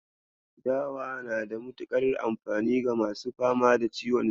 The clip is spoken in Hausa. Dawa na da mutuƙar amfani ga masu fama da ciwon siga.